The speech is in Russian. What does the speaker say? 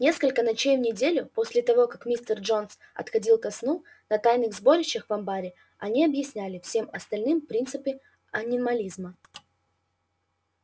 несколько ночей в неделю после того как мистер джонс отходил ко сну на тайных сборищах в амбаре они объясняли всем остальным принципы анимализма